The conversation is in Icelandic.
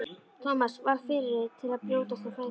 Thomas varð fyrri til að brjótast á fætur.